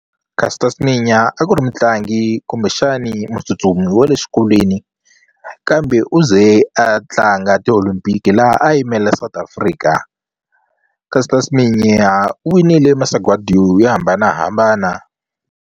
Caster Semenya a ku ri mutlangi kumbexani mutsutsumi wa le xikolweni kambe u ze a tlanga ti-Olympic laha a yimela South Africa Caster Semenya u winile masagwadi yo yo hambanahambana.